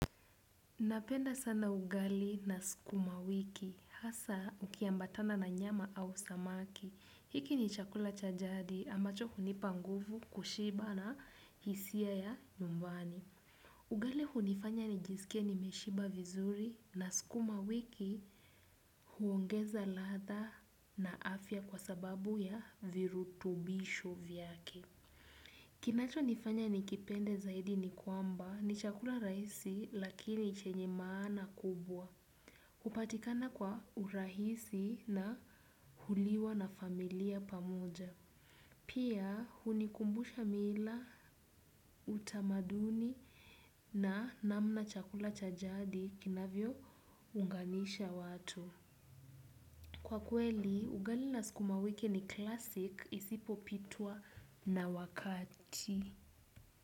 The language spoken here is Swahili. Napenda sana ugali na sukumawiki hasa ukiambatana na nyama au samaki. Hiki ni chakula cha jadi ambacho hunipa nguvu kushiba na hisia ya nyumbani. Ugali hunifanya nijisikie nimeshiba vizuri na sukuma wiki huongeza ladha na afya kwa sababu ya virutubisho vyake. Kinachonifanya nikipende zaidi ni kwamba ni chakula rahisi lakini chenye maana kubwa. Upatikana kwa urahisi na huliwa na familia pamoja. Pia hunikumbusha mila, utamaduni na namna chakula cha jadi kinavyounganisha watu. Kwa kweli, ugali na sukuma wiki ni klasiki isipopitwa na wakati.